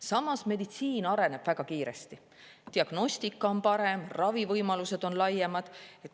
Samas, meditsiin areneb väga kiiresti, diagnostika on parem, ravivõimalused on laiemad.